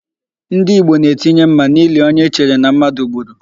Ndị Igbo na-etinye mma n'ili onye e chere na mmadụ gburu.